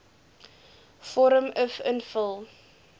vorm uf invul